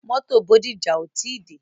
Mótò Bódìjà ò tí dé.